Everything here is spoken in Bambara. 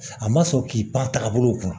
A ma sɔn k'i pan tagabolo kun